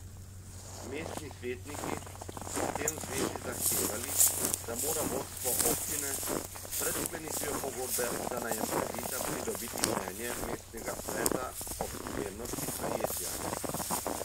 Mestni svetniki so s tem v zvezi zahtevali, da mora vodstvo občine pred sklenitvijo pogodbe za najem kredita pridobiti mnenje mestnega sveta o primernosti najetja.